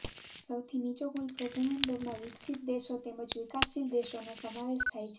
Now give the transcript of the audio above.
સૌથી નીચો કુલ પ્રજનન દરમાં વિકસિત દેશો તેમજ વિકાસશીલ દેશોનો સમાવેશ થાય છે